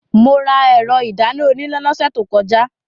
Mo ra ẹ̀rọ ìdáná oníná lọ́sẹ̀ tó kọjá.